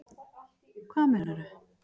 Hvað meinaru